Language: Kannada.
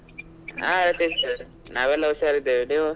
ಹಾ ನಾವೆಲ್ಲ ಹುಷಾರಿದ್ದೇವೆ, ನೀವು?